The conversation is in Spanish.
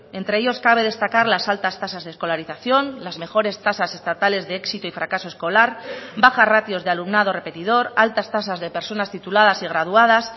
entre ellos cabe destacar las altas tasas de escolarización las mejores tasas estatales de éxito y fracaso escolar baja ratios de alumnado repetidor altas tasas de personas tituladas y graduadas